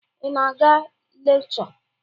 Ị na-aga lekchọ?